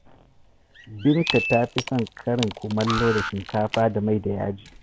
Binta ta fi son karin kumallo da shikafa da mai da yaji